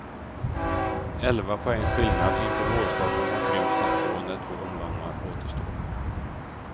Elva poängs skillnad inför vårstarten har krympt till två när två omgångar återstår.